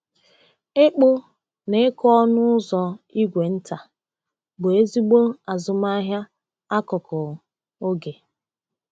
Ịkpụ na ịkụ ọnụ ụzọ ígwè nta bụ ezigbo azụmahịa akụkụ oge.